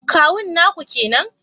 Kawun naku kenan